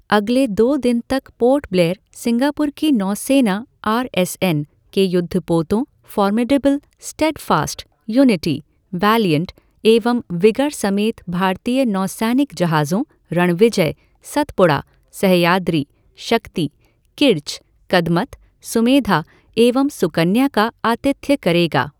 अगले दो दिन तक पोर्ट ब्लेयर सिंगापुर की नौसेना आर एस एन के युद्धपोतों फ़ॉर्मिडेबल, स्टेडफ़ास्ट, युनिटी, वैलिएण्ट एवं विगर समेत भारतीय नौसैनिक जहाज़ों रणविजय, सतपुड़ा, सह्याद्री, शक्ति, किर्च, कदमत, सुमेधा एवं सुकन्या का आतिथ्य करेगा।